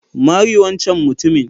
Mari wancen mutumin.